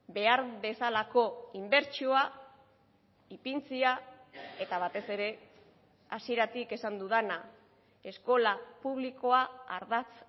behar bezalako inbertsioa ipintzea eta batez ere hasieratik esan dudana eskola publikoa ardatz